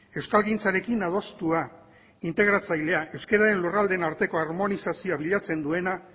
euskalgintzarekin adostua integratzailea euskararen lurraldeen arteko harmonizazioa bilatzen duena